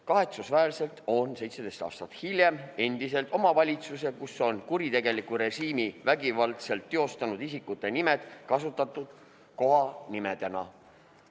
Kahetsusväärselt on 17 aastat hiljem endiselt omavalitsusi, kus on kuritegelikku režiimi vägivaldselt teostanud isikute nimed kasutusel kohanimedena.